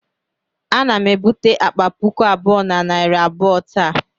Ana m ebute akpa puku abụọ na narị abụọ taa